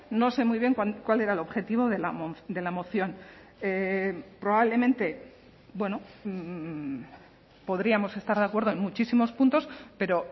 no sé muy bien cuál era el objetivo de la moción probablemente bueno podríamos estar de acuerdo en muchísimos puntos pero